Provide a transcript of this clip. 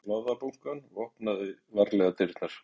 Ég tók blaðabunkann og opnaði varlega dyrnar.